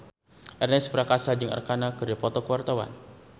Ernest Prakasa jeung Arkarna keur dipoto ku wartawan